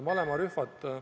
Malevarühmad on ...